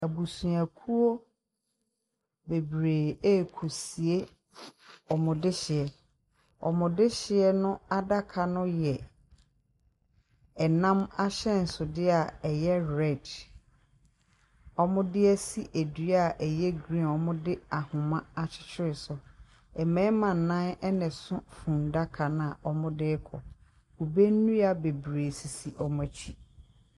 Abusuakuo bebree ɛrekɔsie wɔn dehyeɛ. Wɔn dehyeɛ adaka no yɛ ɛnam ahyɛnsodeɛ a ɛyɛ red, wɔde esi dua a ɛyɛ green wɔde ahoma akyekyere so. Mmarima nnan na ɛso funudaka no a wɔde rekɔ. Kube nnua bebree sisi wɔn akyi.